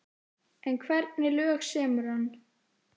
En hvernig lög semur hann?